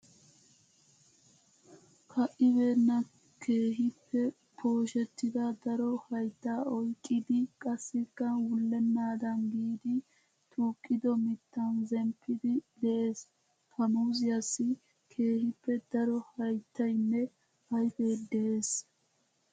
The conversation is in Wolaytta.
Ka'ibeenna keehippe pooshettida daro haytta oyqqidi qassikka wullennaadan giidi tuuqido mittan zemppidi de'ees. Ha muuzziyassi keehippe daro hayttaynne ayfe de'ees.